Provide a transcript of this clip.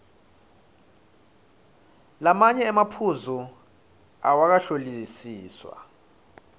lamanye emaphuzu awakahlolisiswa